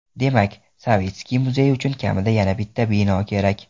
Demak, Savitskiy muzeyi uchun kamida yana bitta bino kerak.